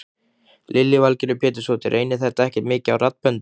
Lillý Valgerður Pétursdóttir: Reynir þetta ekki mikið á raddböndin?